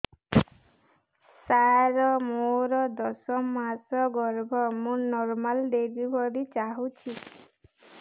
ସାର ମୋର ଦଶ ମାସ ଗର୍ଭ ମୁ ନର୍ମାଲ ଡେଲିଭରୀ ଚାହୁଁଛି